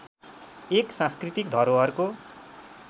एक सांस्कृतिक धरोहरको